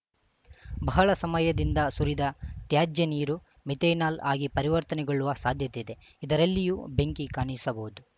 ಬಹಳ ಸಮಯದಿಂದ ಸುರಿದ ತ್ಯಾಜ್ಯ ನೀರು ಮಿಥೆನಾಲ್‌ ಆಗಿ ಪರಿವರ್ತನೆಗೊಳ್ಳುವ ಸಾಧ್ಯತೆ ಇದೆ ಇದರಲ್ಲಿಯೂ ಬೆಂಕಿ ಕಾಣಿಸಬಹುದು